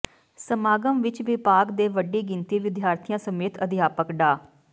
ਸਮਾਗਮ ਵਿਚ ਵਿਭਾਗ ਦੇ ਵੱਡੀ ਗਿਣਤੀ ਵਿਦਿਆਰਥੀਆਂ ਸਮੇਤ ਅਧਿਆਪਕ ਡਾ